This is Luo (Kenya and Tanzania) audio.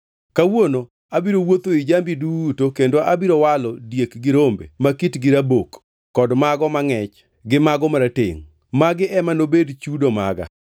Kawuono abiro wuotho ei jambi duto kendo abiro walo diek gi rombe ma kitgi rabok kod mago ma angʼech gi mago maratengʼ. Magi ema nobed chudo maga.